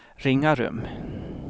Ringarum